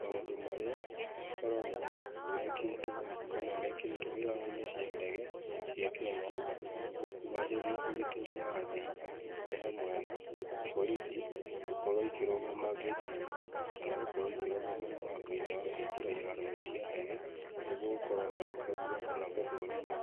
Maũndũ marĩa makoragwo mekĩtwo kana mekĩrĩtwo iharo-inĩ cia ndege, cia Kenya nĩgwo kũgacĩria ũgitĩri wa thĩ, nĩ hamwe na, borithi, gũkorwo ikĩrũgama ngĩti-inĩ, kana gũkorwo ikĩrũgama mũrango-inĩ wa kũingĩra iharo-inĩ cia ndege, nĩguo gũkorwo magĩkagua kana gũthũrima